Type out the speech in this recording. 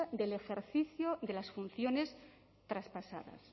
del ejercicio de las funciones traspasadas